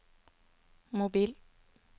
mobil